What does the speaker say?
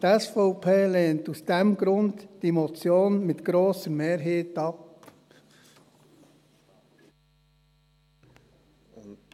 Die SVP lehnt aus diesem Grund diese Motion mit grosser Mehrheit ab.